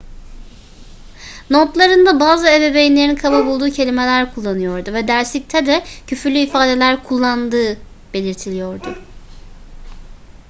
notlarında bazı ebeveynlerin kaba bulduğu kelimeler kullanıyordu ve derslikte de küfürlü ifadeler kullandığı belirtiliyordu